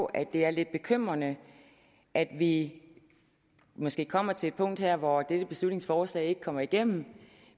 at det er lidt bekymrende at vi måske kommer til et punkt her hvor dette beslutningsforslag ikke kommer igennem